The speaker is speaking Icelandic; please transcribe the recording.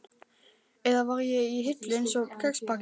Eða var ég í hillu, einsog kexpakki?